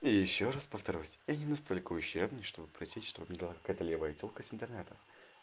и ещё раз повторюсь я не настолько ущербный что бы просить чтобы дала какая-то левая тёлка с интернета